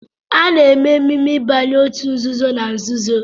A na-eme emume ịbanye òtù nzuzo na nzuzo